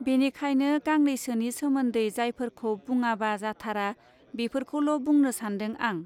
बेनिखायनो गांनैसोनि सोमोन्दै जायफोरखौ बुंङापा जाथारा बेफोरखौल बुंनो सान्दों आं.